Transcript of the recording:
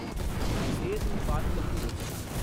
Setu Bharatam Yojana